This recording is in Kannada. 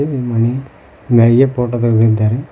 ಇದು ಮನಿ ಮ್ಯಳಿಗೆ ಫೋಟೋ ತಗ್ದಿದ್ದಾರೆ.